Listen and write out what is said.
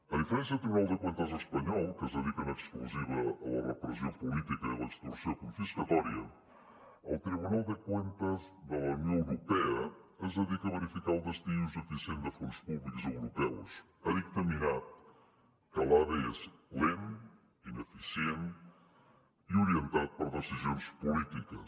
a diferència del tribunal de cuentas espanyol que es dedica en exclusiva a la repressió política i a l’extorsió confiscatòria el tribunal de cuentas de la unió europea es dedica a verificar el destí i ús eficient de fons públics europeus ha dictaminat que l’ave és lent ineficient i orientat per decisions polítiques